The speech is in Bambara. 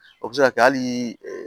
O bɛ se ka kɛ hali